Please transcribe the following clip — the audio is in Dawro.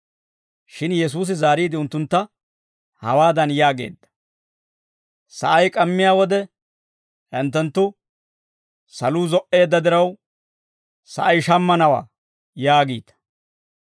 Shin Yesuusi zaariide, unttuntta hawaadan yaageedda; «Sa'ay k'ammiyaa wode hinttenttu, ‹Saluu zo"eedda diraw, sa'ay shammanawaa› yaagiita;